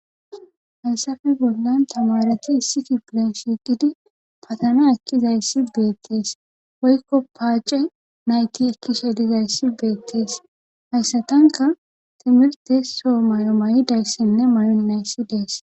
Hayssafe bollan tamaareti issi kifilen shiiqidi fatana ekkidassi beettees woykko paacey nayti ekkishe dizayssi beeteteesayssatankka timirttte oo mayo mayidayssinne mayonnayssi dees.